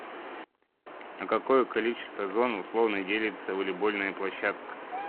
на какое количество зон условно делится волейбольная площадка